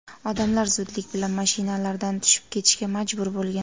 Odamlar zudlik bilan mashinalardan tushib ketishga majbur bo‘lgan.